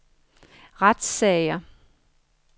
retssager